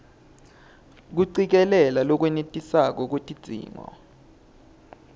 kucikelela lolwenetisako lwetidzingo